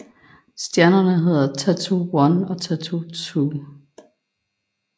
Stjernerne hedder Tatoo 1 og Tatoo 2